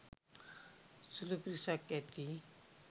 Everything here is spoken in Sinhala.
සුළු පිරිසක් ඇති.